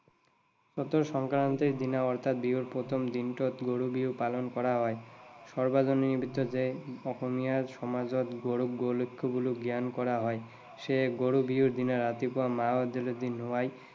চতৰ সংক্ৰান্তিৰ দিনা অৰ্থাৎ বিহুৰ প্ৰথম দিনটোতে গৰু বিহু পালন কৰা হয়। সাৰ্বজনীন নিমিত্ততে অসমীয়া সমাজত গৰু গোলক্ষী বুলি জ্ঞান কৰা হয়। সেয়ে গৰু বিহুৰ দিনা ৰাতিপুৱা গৰুক মাহ হালধিৰে নোৱাই